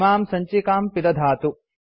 इमां सञ्चिकां पिदधातु